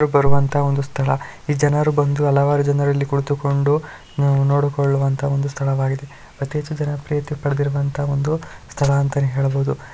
ಬರುವಂತಹ ಒಂದು ಸ್ಥಳ ಈ ಜನರು ಬಂದು ಹಲವಾರು ಜನರು ಇಲ್ಲಿ ಕುಳಿತುಕೊಂಡು ಆಹ್ ನೋಡಿಕೊಳ್ಳುವಂತ ಒಂದು ಸ್ಥಳವಾಗಿದೆ ಅತಿಹೆಚ್ಚು ಜನಪ್ರಿಯತೆ ಪಡೆದಿರುವಂತಹ ಒಂದು ಸ್ಥಳ ಅಂತನೇ ಹೇಳ್ಬಹುದು.